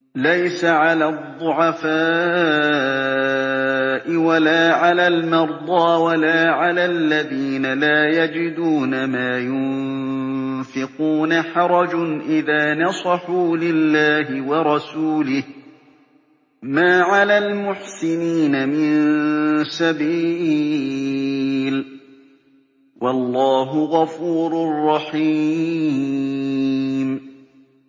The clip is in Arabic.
لَّيْسَ عَلَى الضُّعَفَاءِ وَلَا عَلَى الْمَرْضَىٰ وَلَا عَلَى الَّذِينَ لَا يَجِدُونَ مَا يُنفِقُونَ حَرَجٌ إِذَا نَصَحُوا لِلَّهِ وَرَسُولِهِ ۚ مَا عَلَى الْمُحْسِنِينَ مِن سَبِيلٍ ۚ وَاللَّهُ غَفُورٌ رَّحِيمٌ